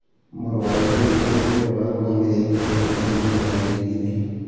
Mũrũ wa Ithe Witũ ũrĩa warũgamĩrĩire ndũmĩrĩri ĩyo nĩoigire.